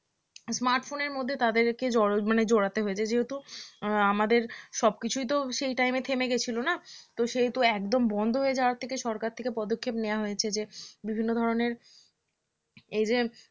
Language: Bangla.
smartphone মধ্যে তাদেরকে জরোজ মানে জড়াতে হয়েছে যেহেতু আমাদের সব কিছুই তো সেই time এ থেমে গেছিল না তো সেহেতু একদম বন্ধ হয়ে যাওয়া থেকে সরকার থেকে পদক্ষেপ নেওয়া হয়েছে যে বিভিন্ন ধরনের এই যে